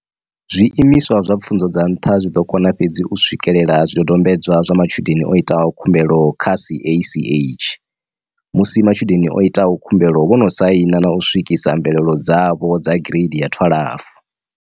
Zwi imiswa zwa pfunzo dza nṱha zwi ḓo kona fhedzi u swikelela zwi dodombedzwa zwa matshudeni o itaho khumbelo kha CACH, musi matshudeni o itaho khumbelo vho no saina na u swikisa mvelelo dzavho dza gireidi ya 12.